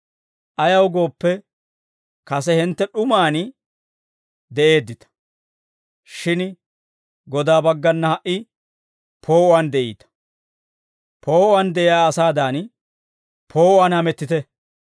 Ayaw gooppe, kase hintte d'umaan de'eeddita; shin Godaa baggana ha"i poo'uwaan de'iita; poo'uwaan de'iyaa asaadan poo'uwaan hamettite.